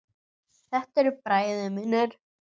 Þetta eru bræður mínir.